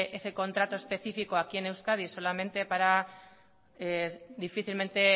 plantear ese contrato específico aquí en euskadi solamente para difícilmente